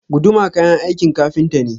Guduma kayan aikin ƙafinta ne.